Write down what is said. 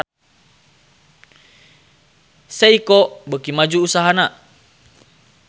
Seiko beuki maju usahana